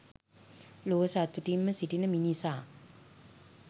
ලොව සතුටින්ම සිටින මිනිසා